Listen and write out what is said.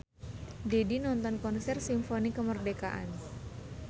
Didi nonton konser Simfoni Kemerdekaan